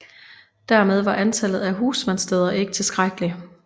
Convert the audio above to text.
Dermed var antallet af husmandssteder ikke tilstrækkeligt